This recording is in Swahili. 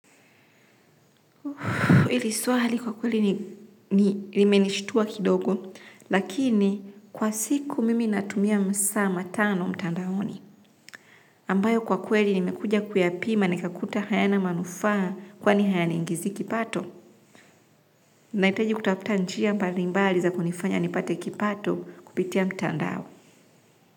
Hili swali kwa kweli nimenishtua kidogo, lakini kwa siku mimi natumia masaa matano mtandaoni. Ambayo kwa kweli nimekuja kuyapima nikakuta hayana manufaa kwani hayaniingizi kipato. Nahitaji kutafuta njia mbalimbali za kunifanya nipate kipato kupitia mtandao.